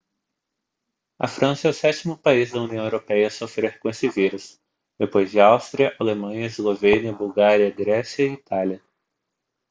a frança é o sétimo país da união europeia a sofrer com esse vírus depois de áustria alemanha eslovênia bulgária grécia e itália